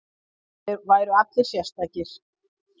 Það væru allir sérstakir.